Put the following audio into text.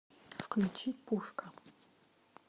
включи пушка